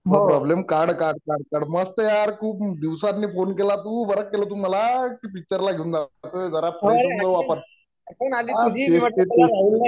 problem काढ काढ काढ मस्त यार तु दिवसांतून फोन केला तू बरं केलं तू मला की पिक्चर ला घेउन जावं अरे जरा फ्रेश होऊन जाऊ आपण काय तेच तेच